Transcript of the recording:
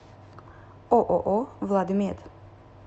ооо владмед